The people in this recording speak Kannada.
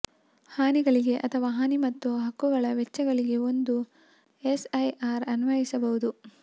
ಹಾನಿಗಳಿಗೆ ಅಥವಾ ಹಾನಿ ಮತ್ತು ಹಕ್ಕುಗಳ ವೆಚ್ಚಗಳಿಗೆ ಒಂದು ಎಸ್ಐಆರ್ ಅನ್ವಯಿಸಬಹುದು